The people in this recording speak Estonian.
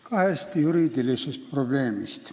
Räägin ka hästi juriidilistest probleemidest.